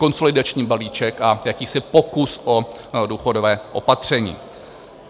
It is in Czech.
Konsolidační balíček a jakýsi pokus o důchodové opatření.